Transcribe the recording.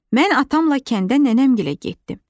Mən atamla kəndə nənəmgilə getdim.